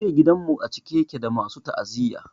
Jiya gidan mu a cike yake da masu ta'aziyya.